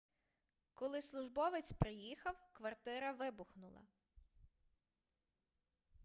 коли службовець приїхав квартира вибухнула